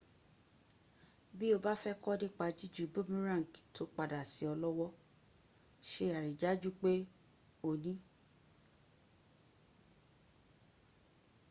bí o bá fẹ́ kọ́ nípa jíju boomerang tó padà sí ọ lọ́wọ́ se àrídájú pé o n